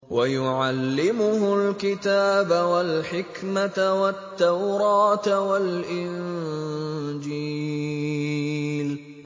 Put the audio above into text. وَيُعَلِّمُهُ الْكِتَابَ وَالْحِكْمَةَ وَالتَّوْرَاةَ وَالْإِنجِيلَ